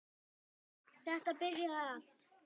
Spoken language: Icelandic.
Þetta byrjaði allt þar.